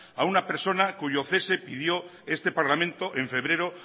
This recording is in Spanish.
a una personacuyo cese pidió este parlamento en febrero